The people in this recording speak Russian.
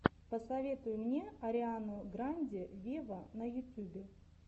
посоветуй мне ариану гранде вево на ютюбе